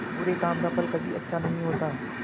बुरे काम का फल कभी अच्छा नहीं होता